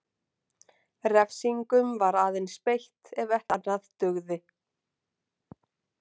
Refsingum var aðeins beitt ef ekkert annað dugði.